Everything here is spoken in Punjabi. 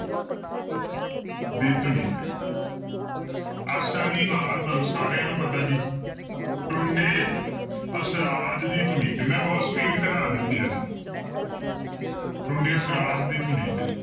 ਦੀ ਧੁਨੀ ਤੇ ਆਸਾ ਦੀ ਵਾਰ ਤੁਹਾਨੂੰ ਸਾਰਿਆਂ ਨੂੰ ਪਤਾ ਜੀ ਟੁੰਡੇ ਅਸਰਾਜ ਦੀ ਧੁਨੀ ਤੇ ਮੈਂ ਬਹੁਤ speed ਘਟਾ ਦਿੱਤੀ ਆ ਜੀ ਟੁੰਡੇ ਅਸਰਾਜ ਦੀ ਧੁਨੀ ਤੇ